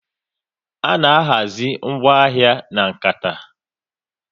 A na-ahazi ngwaahia na kanta